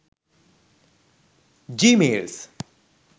gmails